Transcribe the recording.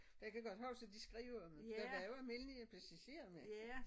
Jeg kan godt huske de skrev om der var jo almindelige passagerer med